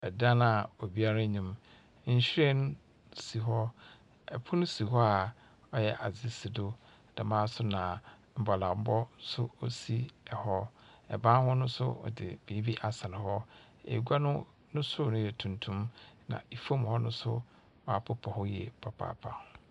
Ɛdan a obiara nnim. Nhwiren si hɔ. Pono si hɔ a ɔyɛ adze si do. Dɛm ara nso na mbɔlambɔ nso si hɔ. Ban ho no nso, wɔdze biribi asɛn hɔ. Egua no no sor no yɛ tuntum, na fam hɔ no nso wɔapepa hɔ yie papaapa.